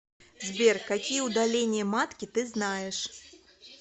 сбер какие удаление матки ты знаешь